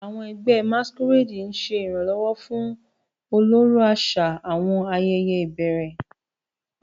Àwọn ẹgbẹ́ Masquerade ń ṣe ìrànlọ́wọ́ fún ọlọ́rọ̀ àṣà àwọn ayẹyẹ ìbẹ̀rẹ̀.